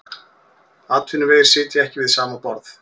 Atvinnuvegir sitja ekki við sama borð